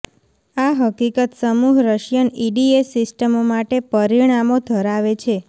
આ હકીકત સમૂહ રશિયન ઇડીએસ સિસ્ટમો માટે પરિણામો ધરાવે છે